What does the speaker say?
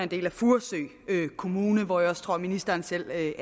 del af furesø kommune hvor jeg også tror at ministeren selv er